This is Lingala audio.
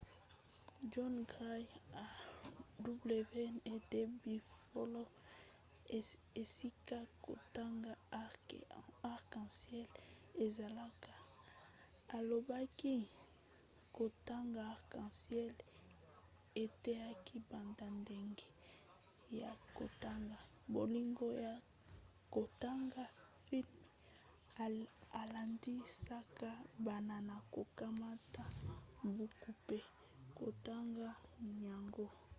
john grant ya wned buffalo esika kotanga arc en ciel ezalaka alobaki kotanga arc en ciel eteyaki banda ndenge ya kotanga,... bolingo ya kotanga — [filme] elendisaka bana na kokamata buku mpe kotonga yango.